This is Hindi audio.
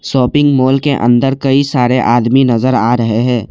शॉपिंग मॉल के अंदर कई सारे आदमी नजर आ रहे हैं।